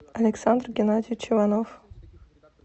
александр геннадьевич иванов